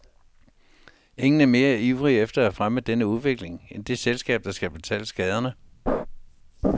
Ingen er mere ivrig efter at fremme denne udvikling end det selskab, der skal betale skaderne.